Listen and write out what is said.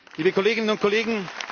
liebe Kolleginnen und Kollegen!